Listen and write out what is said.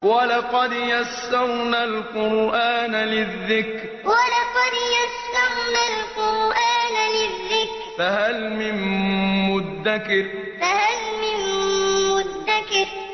وَلَقَدْ يَسَّرْنَا الْقُرْآنَ لِلذِّكْرِ فَهَلْ مِن مُّدَّكِرٍ وَلَقَدْ يَسَّرْنَا الْقُرْآنَ لِلذِّكْرِ فَهَلْ مِن مُّدَّكِرٍ